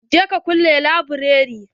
Je ka kulle laburare.